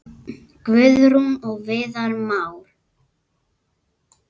Guðrún og Viðar Már.